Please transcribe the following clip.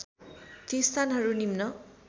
ती स्थानहरू निम्न